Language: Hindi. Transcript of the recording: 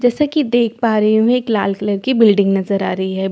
जैसा कि देख पा रही हूं। एक लाल कलर की बिल्डिंग नजर आ रही है।